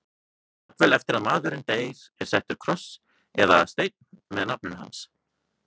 Jafnvel eftir að maðurinn deyr er settur kross eða steinn með nafninu hans.